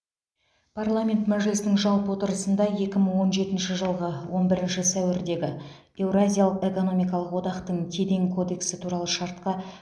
парламент мәжілісінің жалпы отырысында екі мың он жетінші жылғы он бірінші сәуірдегі еуразиялық экономикалық одақтың кеден кодексі туралы шартқа